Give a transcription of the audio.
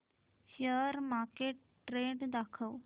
share market trend दाखव